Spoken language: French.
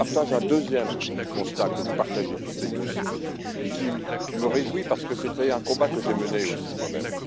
Je partage un deuxième constat, que vous partagez toutes et tous, et qui me réjouit parce que c'était un combat que j'ai mené aussi moi même.